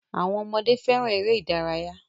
Awọn ọmọdé féràn èrè ìdárayá.